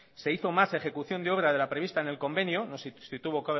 se hizo más ejecución de obra de la prevista en el convenio no sé si tuvo